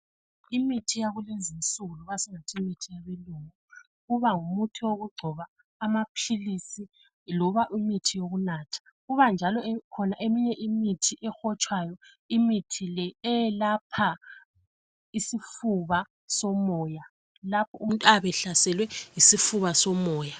Imithi yakulezinsuku loba singathi imithi yabelungu. Kuba ngumuthi wokugcoba, amapilisi loba imithi yokunatha. Kuba njalo khona eminye imithi ehotshwayo. Imithi le eyelapha isifuba somoya lapho umuntu ayabe ehlaselwe yisifuba somoya.